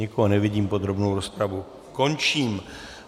Nikoho nevidím, podrobnou rozpravu končím.